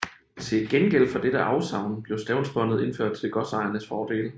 Til gengæld for dette afsavn blev stavnsbåndet indført til godsejernes fordel